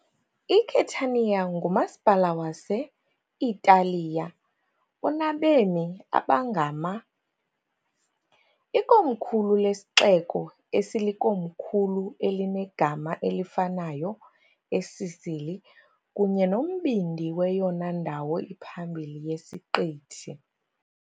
ICatania ngumasipala wase-Italiya onabemi abangama , ikomkhulu lesixeko esilikomkhulu elinegama elifanayo eSicily kunye nombindi weyona ndawo iphambili yesiqithi.